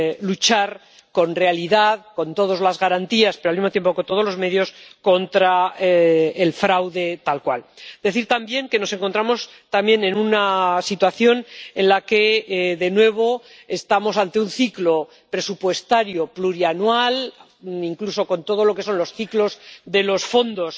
luchar realmente, con todas las garantías pero al mismo tiempo con todos los medios, contra el fraude tal cual. Decir también que nos encontramos en una situación en la que de nuevo estamos ante un ciclo presupuestario plurianual, con todo lo que son los ciclos de los fondos